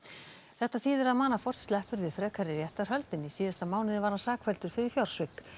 þetta þýðir að Manafort sleppur við frekari réttarhöld en í síðasta mánuði var hann sakfelldur fyrir fjársvik